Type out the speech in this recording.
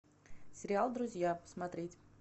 сериал друзья смотреть